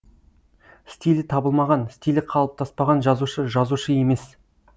стилі табылмаған стилі қалыптаспаған жазушы жазушы емес